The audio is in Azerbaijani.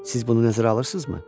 Siz bunu nəzərə alırsınızmı?